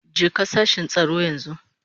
Jeka sashin tsaro yanzu.